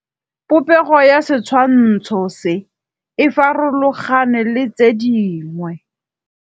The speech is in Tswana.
Popêgo ya setshwantshô se, e farologane le tse dingwe.